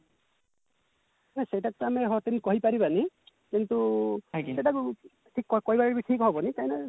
ନା ସେଇଟା ତ ଆମେ କହିପାରିବନିକିନ୍ତୁ ସେଇଟାକୁ କହିବାକୁ ଠିକ ହବନି କାହିଁକି ନା